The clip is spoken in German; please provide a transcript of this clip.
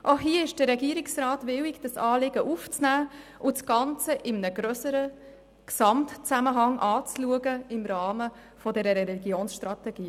Auch hier ist der Regierungsrat willig, das Anliegen aufzunehmen und das Ganze im Rahmen der Religionsstrategie in einem grösseren Gesamtzusammenhang anzuschauen.